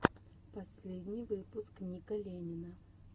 последний выпуск ника ленина